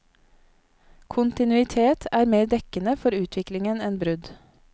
Kontinuitet er mer dekkende for utviklingen enn brudd.